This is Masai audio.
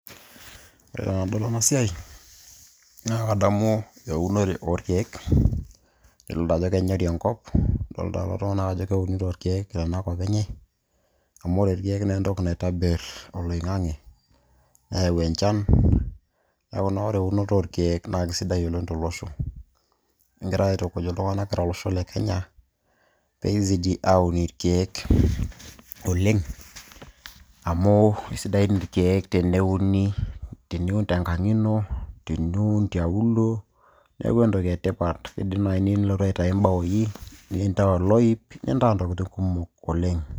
ore tenadol ena siai naa kadamu eunore orkeek idolita ajo kenyori enkop idolita lelo tung'anak ajo keunito irkeek tenakop enye amu ore irkeek naa entoki naitobirr oloing'ang'e neyau enchan neeku naa ore eunoto orkeek naa kisidai oleng tolosho kingira aitukuj iltung'anak kira olosho le kenya peizidi aun irkeek oleng amu isidan irkeek teneuni teniun tenkang ino teniun tialuo neeku entoki etipat idim naaji niyieu nilotu aitayu imbaoi nintaa oloip nintaa ntokitin kumok oleng.